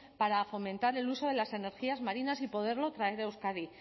para fomentar el uso de las energías marinas y poderlo traer a euskadi